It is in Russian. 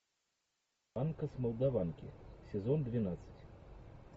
анка с молдаванки сезон двенадцать